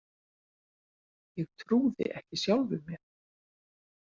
Ég trúði ekki sjálfum mér.